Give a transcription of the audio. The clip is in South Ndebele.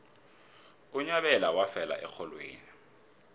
unyabela wafela erholweni